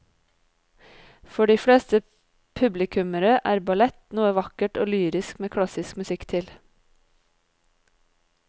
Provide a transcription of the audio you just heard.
For de fleste publikummere er ballett noe vakkert og lyrisk med klassisk musikk til.